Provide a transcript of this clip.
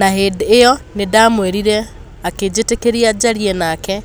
Na hĩndĩ ĩyo nĩndamũĩrire, akĩnjĩtĩkĩria njarie nake,